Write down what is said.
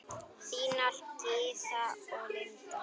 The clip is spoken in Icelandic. Þínar Gyða og Linda.